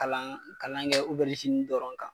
Kalan kalan kɛ dɔrɔn kan